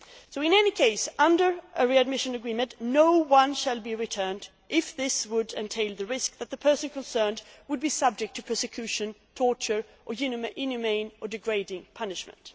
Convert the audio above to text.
In any case, under a readmission agreement, no one shall be returned if this would entail the risk that the person concerned would be subject to persecution, torture or inhumane or degrading punishment.